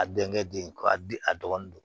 A denkɛ den k'a di a dɔgɔnin don